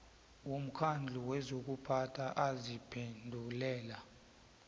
womkhandlu wezokuphatha aziphendulela